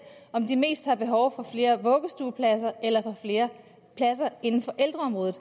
om de mest har behov for flere vuggestuepladser eller flere pladser inden for ældreområdet